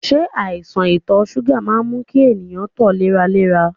Se aisan ito suga maa n mu ki eniyan to leralera?